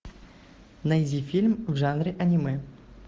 найди фильм в жанре аниме